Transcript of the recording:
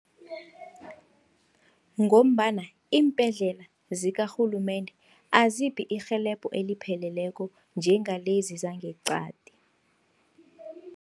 Ngombana iimbhedlela zikarhulumende aziphi irhelebho elipheleleko njengalezi zangeqadi.